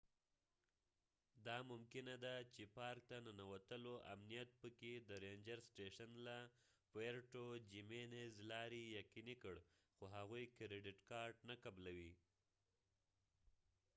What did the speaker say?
دا ممکنه ده چې پارک ته ننوتلو امنیت په puerto jiménez کې د رینجر سټیشن له لارې یقیني کړ خو هغوی کریډټ کارټ نه قبلوي